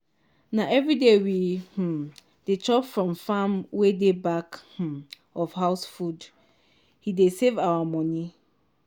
na everyday we um dey chop from farm wey dey back um of house food he dey save our money